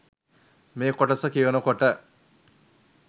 ”මේ කොටස කියවනකොට